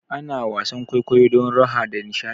Ana wasan kwaikwayo don raha da nishaɗi